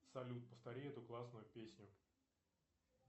салют повтори эту классную песню